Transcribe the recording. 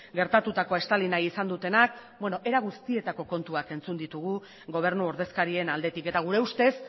gertatutakoa estali nahi izan dutenak beno era guztietako kontuak entzun ditugu gobernu ordezkarien aldetik eta gure ustez